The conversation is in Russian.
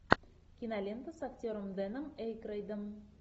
кинолента с актером дэном эйкройдом